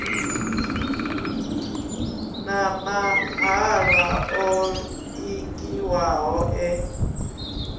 na mahalwa o ingiwaho e